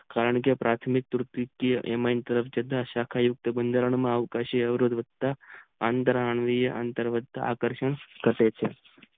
કારણ કે પાર્થીમિક એની સાકાવો બધરીનીય આવતા હછે એ મુક્ત અંદર આકર્ષણ કહે છે